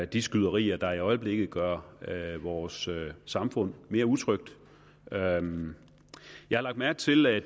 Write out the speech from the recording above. de skyderier der i øjeblikket gør vores samfund mere utrygt jeg lagde mærke til at